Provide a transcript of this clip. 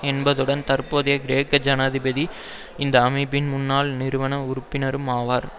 என்பதுடன் தற்போதைய கிரேக்க ஜனாதிபதி இந்த அமைப்பின் முன்னாள் நிறுவன உறுப்பினரும் ஆவார்